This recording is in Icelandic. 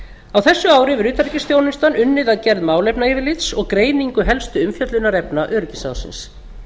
á þessu ári hefur utanríkisþjónustan unnið að gerð málefnayfirlits og greiningu helstu umfjöllunarefna öryggisráðsins